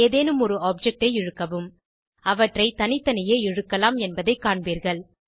ஏதேனும் ஒரு ஆப்ஜெக்ட்ஐ இழுக்கவும் அவற்றை தனித்தனியே இழுக்கலாம் என்பதை காண்பீர்கள்